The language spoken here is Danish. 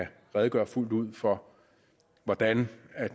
redegøre fuldt ud for hvordan